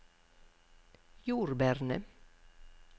jordbærene